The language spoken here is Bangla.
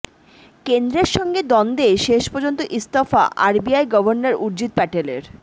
কেন্দ্রের সঙ্গে দ্বন্দ্বে শেষপর্যন্ত ইস্তফা আরবিআই গভর্নর উর্জিত প্যাটেলের